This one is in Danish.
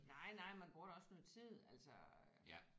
Nej nej man bruger da også noget tid altså øh